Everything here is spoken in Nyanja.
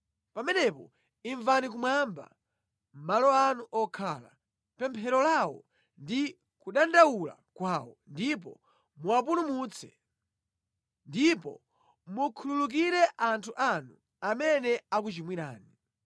pamenepo imvani kumwamba, malo anu okhala, pemphero lawo ndi kudandaula kwawo, ndipo muwapulumutse. Ndipo mukhululukire anthu anu, amene akuchimwirani.